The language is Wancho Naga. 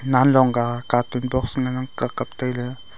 nanlong ka carton box ngan ang ka kapley.